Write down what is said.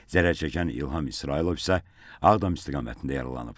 Zərərçəkən İlham İsrailov isə Ağdam istiqamətində yaralanıb.